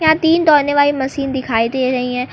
यहां तीन दौड़ने वाली मशीन दिखाई दे रही हैं।